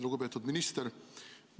Lugupeetud minister!